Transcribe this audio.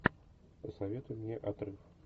посоветуй мне отрыв